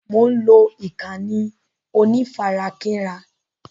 Mo ń lọ ìkànnì onífarakínra..